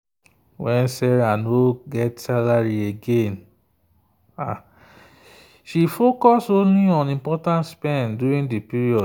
when sarah no get salary again she focus only on important spend during the period.